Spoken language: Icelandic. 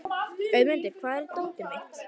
Auðmundur, hvar er dótið mitt?